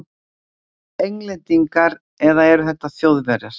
Englendingar- eða eru þetta Þjóðverjar?